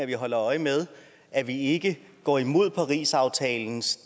vi holder øje med at vi ikke går imod parisaftalens